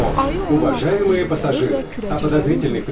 Ayı onun arxasınca gəlir və kürəcikləri uddurdu.